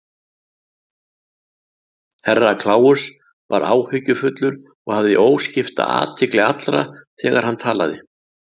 Herra Kláus var áhyggjufullur og hafði óskipta athygli allra þegar hann talaði.